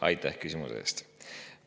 Aitäh küsimuse eest!